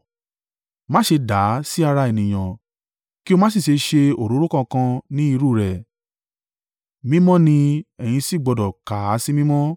Má ṣe dà á sí ara ènìyàn kí o má sì ṣe ṣe òróró kankan ni irú rẹ̀. Mímọ́ ni, ẹ̀yin sì gbọdọ̀ kà á sí mímọ́.